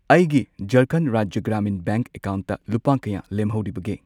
ꯑꯩꯒꯤ ꯖꯔꯈꯟꯗ ꯔꯥꯖ꯭ꯌ ꯒ꯭ꯔꯥꯃꯤꯟ ꯕꯦꯡꯛ ꯑꯦꯀꯥꯎꯟꯠꯇ ꯂꯨꯄꯥ ꯀꯌꯥ ꯂꯦꯝꯍꯧꯔꯤꯕꯒꯦ?